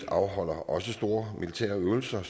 afholder store militære øvelser